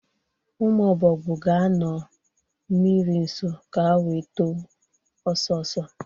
ụmụ Ọbọgwụ ga-anọ mmiri nso ka wee too ọsọsọ.